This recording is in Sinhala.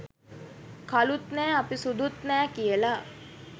කළුත් නෑ අපි සුදුත් නැහැ කියලා.